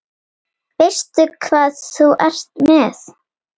Veistu hvað þú ert með?